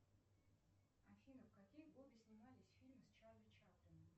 афина в какие годы снимались фильмы с чарли чаплином